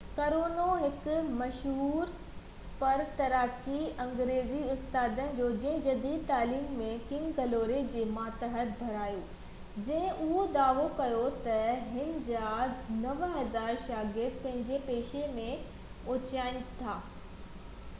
ڪرنو هڪ مشهور پر تڪراري انگريزي استاد هو جنهن جديد تعليم ۽ ڪنگ گلوري جي ماتحت پڙهايو جنهن اهو دعويٰ ڪيو تہ هن جا 9000 شاگرد پنهنجي پيشي ۾ اوچائين تي آهن